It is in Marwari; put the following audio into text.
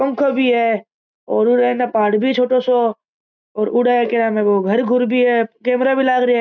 पंखाे भी है और अने पहाड़ भी है छोटाे साे घर घूर भी है कैमरा भी लाग रिया है।